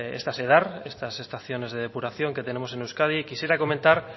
estas edar estas estaciones de depuración que tenemos en euskadi quisiera comentar